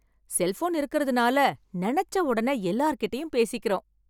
Cellphone இருக்கிறதுனால நெனச்ச உடனே எல்லார்கிட்டயும் பேசிக்கிறோம்.